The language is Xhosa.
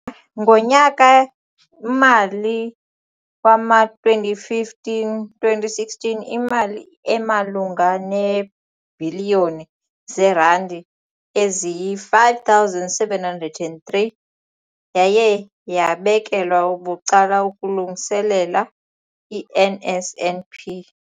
Ngonyaka-mali wama-2015, 2016, imali emalunga neebhiliyoni zeerandi eziyi-5 703 yaye yabekelwa bucala ukulungiselela i-NSNP.